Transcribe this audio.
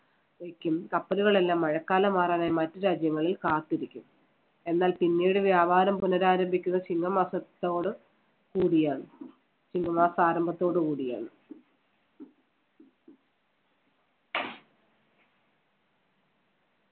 വയ്ക്കും കപ്പലുകളെല്ലാം മഴക്കാലം മാറാനായി മറ്റ് രാജ്യങ്ങളിൽ കാത്തിരിക്കും. എന്നാൽ പിന്നീട് വ്യാപാരം പുനരാരംഭിക്കുന്ന ചിങ്ങമാസത്തോട് കൂടിയാണ്. ചിങ്ങമാസ ആരംഭത്തോട് കൂടിയാണ്.